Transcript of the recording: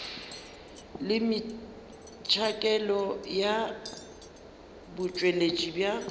le metšhakelo ya botšweletši bja